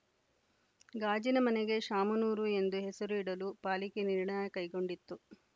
ಗಾಜಿನ ಮನೆಗೆ ಶಾಮನೂರು ಎಂದು ಹೆಸರು ಇಡಲು ಪಾಲಿಕೆ ನಿರ್ಣಯ ಕೈಗೊಂಡಿತ್ತು